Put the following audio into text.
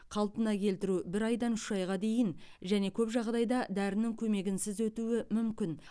қалпына келтіру бір айдан үш айға дейін және көп жағдайда дәрінің көмегінсіз өтуі мүмкін